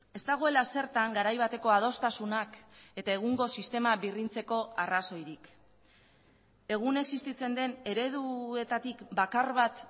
ez dagoela zertan garai bateko adostasunak eta egungo sistema birrintzeko arrazoirik egun existitzen den ereduetatik bakar bat